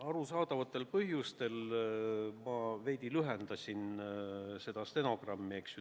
Arusaadavatel põhjustel ma veidi lühendasin seda protokolli, eks ju.